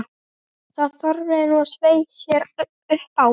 Það þorði hún að sveia sér upp á!